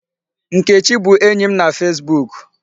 Nkechi bụ enyi m na Facebook.